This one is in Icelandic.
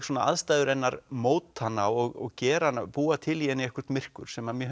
aðstæður hennar móta hana og gera hana búa til í henni eitthvert myrkur sem mér